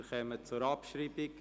Wir kommen zur Abschreibung: